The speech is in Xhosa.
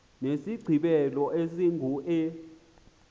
nesigqibelo esingu e